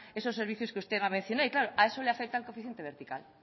esos servicios que usted mencionar y claro a eso le afecta el coeficiente vertical